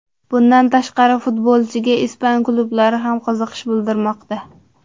Bundan tashqari futbolchiga ispan klublari ham qiziqish bildirmoqda.